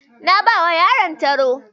Na bawa yaron taro.